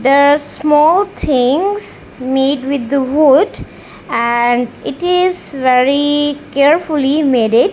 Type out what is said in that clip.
there are small things made with the wood and it is very carefully maded.